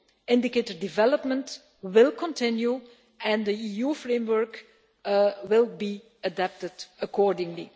indicator development will continue and the EU framework will be adapted accordingly.